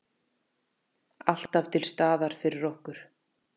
Alltaf til staðar fyrir okkur.